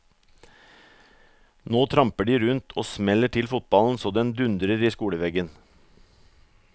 Nå tramper de rundt og smeller til fotballen så den dundrer i skoleveggen.